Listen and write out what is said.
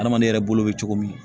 Adamaden yɛrɛ bolo bɛ cogo min